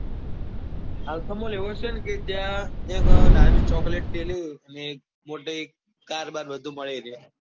alpha mall એવો છે કે ત્યાં નાની ચોકલેટ થી લઇ ને મોટી car બાર બધું મળી રે.